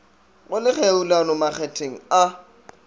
go le kgerulano makgetheng a